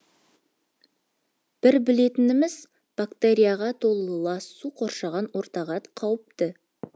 бір білетініміз бактерияға толы лас су қоршаған ортаға қауіпті